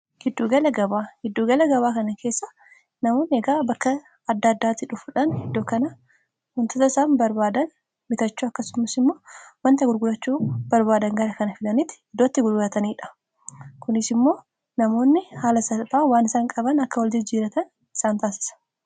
Giddugala gabaa kana keessa namoonni eegaa bakka adda addaatii dhufuudhan iddoo kana dhufuudhaan waan barbaadan bitachuu akkasums immoo wanta gurgurachuu barbaadan gara kan fidanii iddoo itti gurgrataniidha. Kunis immoo namoonni haala salphaa waan isaan qaban akka waljijjiiratan isaan taasisa.